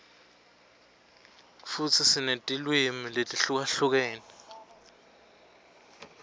futsi sinetilwimi letihlukahlukene